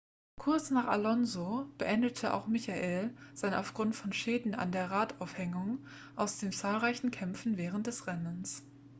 kurz nach alonso beendete auch michael sein aufgrund von schäden an der radaufhängung aus den zahlreichen kämpfen während des rennens